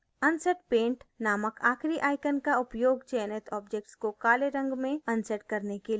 unset paint नामक आखरी icon का उपयोग चयनित object को काले रंग में unset करने के लिए किया जाता है